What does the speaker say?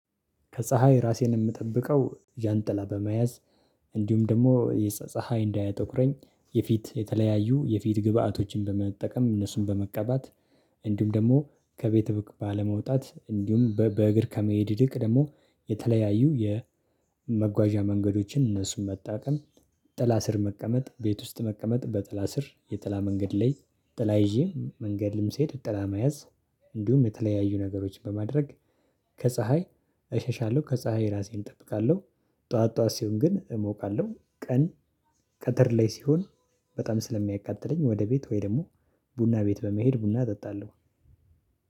ከፀሀይ ራሴን የምጠብቀው ጃንጥላ በመያዝ እንዲሁም ደግሞ ፀሀይ እንዳያጠቁረኝ የፊት የተለያዩ የፊት ግብአቶችን በመጠቀም እነሱን በመቀባት እንዲሁም ደግሞ ከቤት ባለመውጣት እንዲሁም በእግር ከመሄድ ይልቅ ደግሞ የተለያዩ የመጓዣ መንገዶችን እነሱን መጣቀም ጥላ ስር መቀመጥ ቤት ውስጥ መቀመጥ በጠላ ስር የጠላ መንገድ ላይ ጠላ ይዤ መንገድም ስሄድ ጥላ መያዝ እንዲሁም የተለያዩ ነገሮችን በማድረግ ከፀሀይ እሸሻለሁ ከፀሀይ ራሴን እጠብቃለሁ። ጠዋት ጠዋት ሲሆን ግን እሞቃለሁ ቀን ቀትር ላይ ሲሆን በጣም ስለሚያቃጥለኝ ወደ ቤት ወይ ደግሞ ቡና ቤት በመሄድ ቡና እጠጣለሁ